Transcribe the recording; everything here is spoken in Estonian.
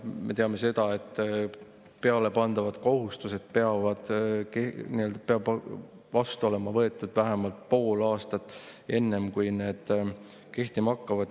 Me teame seda, et pealepandavad kohustused peavad olema vastu võetud vähemalt pool aastat enne, kui need kehtima hakkavad.